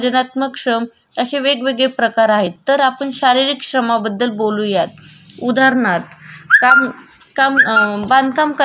काम अ बांधकाम करणारा माणूस जी विट उचलतो सिमेंट लावतो मिसडणे वगरे काम करतो. त्याला आपण शारीरिक श्रम म्हणू शकतो.